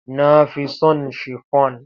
Na fi so shifon.